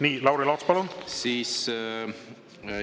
Nii, Lauri Laats, palun!